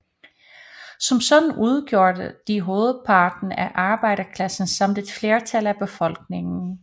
Som sådan udgjorde de hovedparten af arbejderklassen samt et flertal af befolkningen